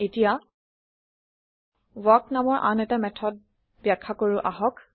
এতিয়া ৱাল্ক নামৰ আন এটা মেথদ বাখয়া কৰো আহক